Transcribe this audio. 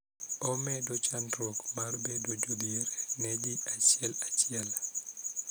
Omedo chandruok mar bedo jodhier ne ji achiel achiel